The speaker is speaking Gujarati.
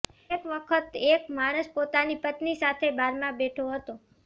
એક વખત એક માણસ પોતાની પત્ની સાથે બારમાં બેઠો હતો